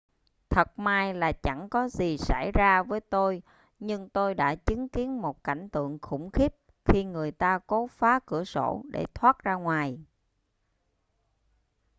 thật may là chẳng có gì xảy ra với tôi nhưng tôi đã chứng kiến một cảnh tượng khủng khiếp khi người ta cố phá cửa sổ để thoát ra ngoài